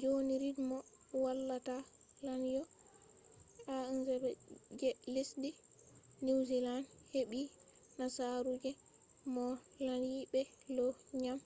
joni rid mo wallata lanyo a1gp je lesdi niwziland heɓɓi nasaru je mo lanyi be low ngam